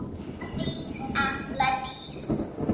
Þín Embla Dís.